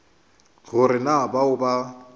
go re na bao ba